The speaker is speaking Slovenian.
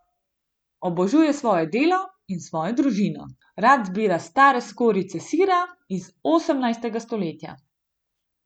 Obožuje svoje delo in svoj družino, rad zbira stare skorjice sira iz osemnajstega stoletja.